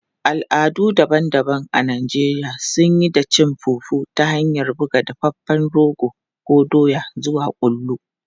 Al'adu daban-daban a Najeriya suna yi da cin fufu ta hanyar buga dafaffen rogo ko doya zuwa kullu.